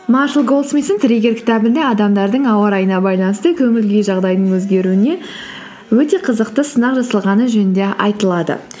маршал тірі кел кітабында адамдардың ауа райына байланысты көңіл күйі жағдайының өзгеруіне өте қызықты сынақ жасалғаны жөнінде айтылады